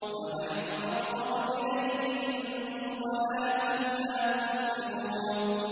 وَنَحْنُ أَقْرَبُ إِلَيْهِ مِنكُمْ وَلَٰكِن لَّا تُبْصِرُونَ